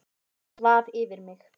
Svaf yfir mig